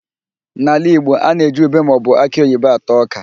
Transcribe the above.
N'ala Igbo, a na-eji ùbé maọbụ akị oyibo ata ọ́kà.